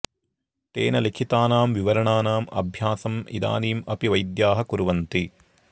तेन लिखितानां विवरणानाम् अभ्यासम् इदानीम् अपि वैद्याः कुर्वन्ति